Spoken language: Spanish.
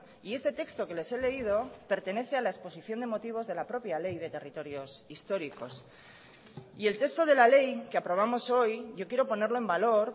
y este texto que les he leído pertenece a la exposición de motivos de la propia ley de territorios históricos y el texto de la ley que aprobamos hoy yo quiero ponerlo en valor